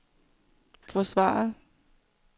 forsvaret